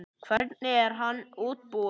Hvernig er hann útbúinn?